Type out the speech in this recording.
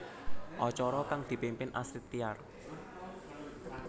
Acara kang dipimpin Astrid Tiar